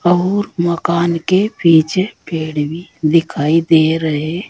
और मकान के पीछे पेड़ भी दिखाई दे रहे।